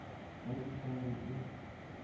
ge e ka be e